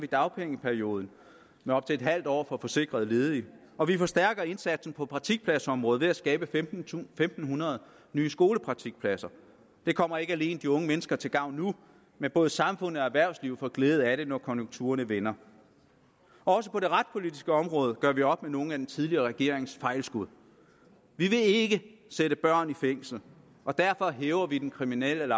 dagpengeperioden med op til et halvt år for forsikrede ledige og vi forstærker indsatsen på praktikpladsområdet ved at skabe en tusind fem hundrede nye skolepraktikpladser det kommer ikke alene de unge mennesker til gavn nu men også samfundet og erhvervslivet får glæde af det når konjunkturerne vender også på det retspolitiske område gør vi op med nogle af den tidligere regerings fejlskud vi vil ikke sætte børn i fængsel og derfor hæver vi den kriminelle